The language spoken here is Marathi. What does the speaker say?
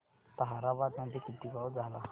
ताहराबाद मध्ये किती पाऊस झाला